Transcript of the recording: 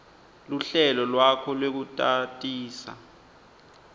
luhlelo lwakho lwekutatisa